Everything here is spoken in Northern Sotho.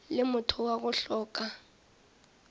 le motho wa go hloka